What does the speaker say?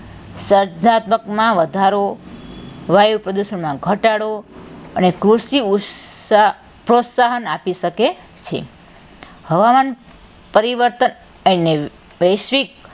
સર્જનાત્મકમાં વધારો, વાયુ પ્રદુષણમાં ઘટાડો અને કૃષિ પ્રોત્સાહન આપી શકે છે હવામાન પરિવર્તન અને વૈશ્વિક,